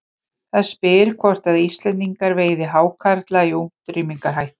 Það spyr hvort að Íslendingar veiði hákarla í útrýmingarhættu.